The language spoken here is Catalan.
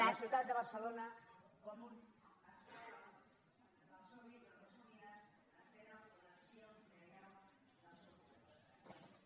la ciutat de barcelona com un